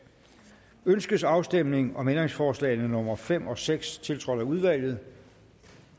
ønskes afstemning om ændringsforslag nummer fem og seks tiltrådt af udvalget